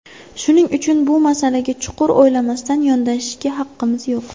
Shuning uchun bu masalaga chuqur o‘ylamasdan yondashishga haqqimiz yo‘q.